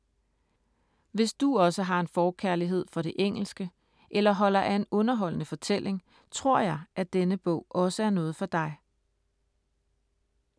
Hvis du også har en forkærlighed for det engelske eller holder af en underholdende fortælling, tror jeg, at denne bog også er noget for dig.